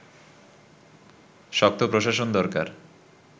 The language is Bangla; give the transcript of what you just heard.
শক্ত প্রশাসন দরকার